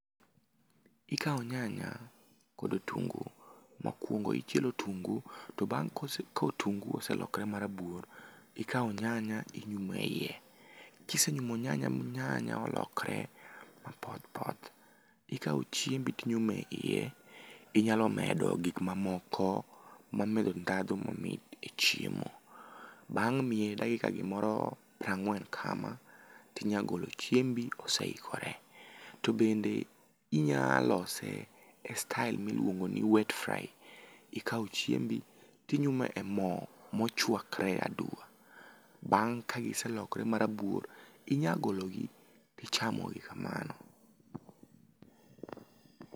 ikawo nyanya kod otungu, mokuong'o ichielo otungu to kotungu oselokore marabuor, ikawo nyanya inyume iye kisenyumo nyanya mi nyanya olokre mapoth poth tik kawo chiembi tinyume iye inyalo medo gik mamoko mag medo dhandhu mamit e chiemo ,bang' miye gimoro dakika piero ang'wen kama ,tinya golo chiembi ose ikore ,ro bende inya lose e style miluongo ni wet fry ikawo chiembi tinyume emo mochuakore aduma ,bang ka iselokre marabuor inya golo gi tichamo gi kamano.